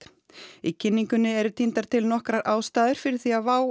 í kynningunni eru tíndar til nokkrar ástæður fyrir því að WOW